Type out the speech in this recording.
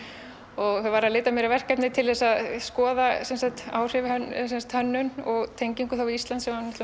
og var að leita mér að verkefni til að skoða áhrif á hönnun og tengingu við Ísland sem var